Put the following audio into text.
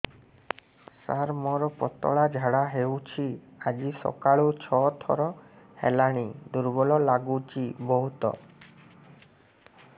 ସାର ମୋର ପତଳା ଝାଡା ହେଉଛି ଆଜି ସକାଳୁ ଛଅ ଥର ହେଲାଣି ଦୁର୍ବଳ ଲାଗୁଚି ବହୁତ